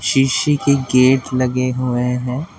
जीशी के गेट लगे हुए हैं।